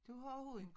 Du har hund